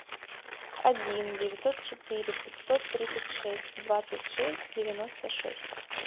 один девятьсот четыре пятьсот тридцать шесть двадцать шесть девяносто шесть